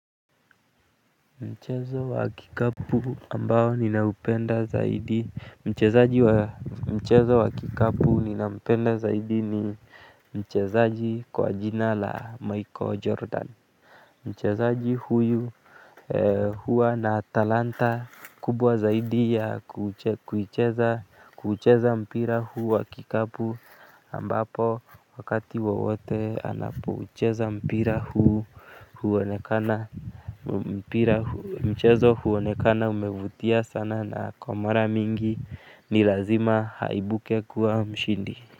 Mchezo wa kikapu ambao ninaupenda zaidi mchezaji wa mchezo wa kikapu ninampenda zaidi ni mchezaji kwa jina la Michael Jordan. Mchezaji huyu huwa na talanta kubwa zaidi ya kuucheza mpira huu wa kikapu ambapo wakati wowote anapo ucheza mpira huu huonekana. Mpira mchezo huonekana umevutia sana na kwa mara mingi ni lazima haibuke kuwa mshindi.